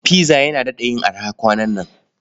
Pizza yana daɗa yin araha kwanan nan.